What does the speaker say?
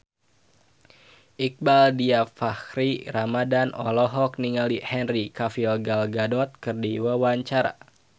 Iqbaal Dhiafakhri Ramadhan olohok ningali Henry Cavill Gal Gadot keur diwawancara